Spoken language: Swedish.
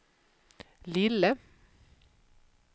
lille